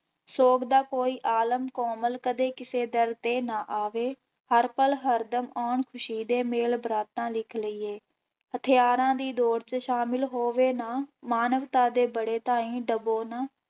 ਸੋਗ ਦਾ ਕੋਈ ਆਲਮ ਕੋਮਲ ਕਦੇ ਕਿਸੇ ਦਿਲ ਤੇ ਨਾ ਆਵੇ, ਹਰ ਪਲ ਹਰ ਦਮ ਆਉਣ ਖ਼ੁਸ਼ੀ ਦੇ ਮੇਲ ਬਾਰਾਤਾਂ ਲਿਖ ਲਈਏ, ਹਥਿਆਰਾਂ ਦੀ ਦੌਰ ਚ ਸ਼ਾਮਿਲ ਹੋਵੇ ਨਾ ਮਾਨਵਤਾ ਦੇ ਬੜੇ ਤਾਈਂ ਡਬੋ ਨਾ,